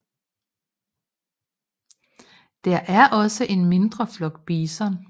Der er også en mindre flok bison